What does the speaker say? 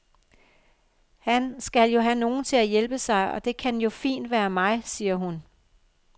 Han skal jo have nogle til at hjælpe sig, og det kan jo fint være mig, siger hun.